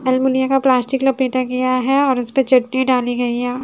Aluminium का plastic लपेटा गया है और उसपे चटनी डाली गई है।